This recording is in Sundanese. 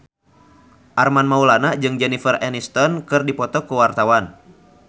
Armand Maulana jeung Jennifer Aniston keur dipoto ku wartawan